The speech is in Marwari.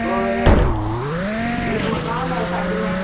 और एक मकान है साइड में।